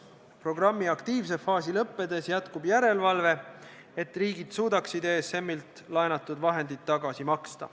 Programmi aktiivse faasi lõppedes jätkub järelevalve, et riigid suudaksid ESM-ilt laenatud vahendid tagasi maksta.